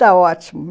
Está ótimo.